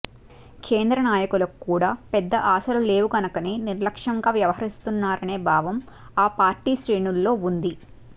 కేంద్ర నాయకులకు కూడా పెద్ద ఆశలు లేవు గనకనే నిర్లక్ష్యంగా వ్యవహరిస్తున్నారనే భావం ఆ పార్టీ శ్రేణుల్లో వుంది